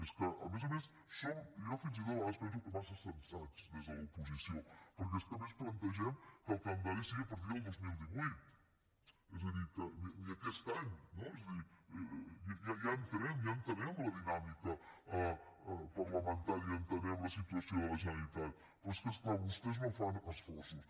és que a més a més jo fins i tot a vegades penso que som massa sensats des de l’oposició perquè és que a més plantegem que el calendari sigui a partir del dos mil divuit és a dir ni aquest any no és a dir entenem la dinàmica parlamentària i entenem la situació de la generalitat però és que és clar vostès no fan esforços